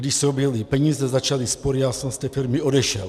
Když se objevily peníze, začaly spory, já jsem z té firmy odešel.